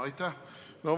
Aitäh!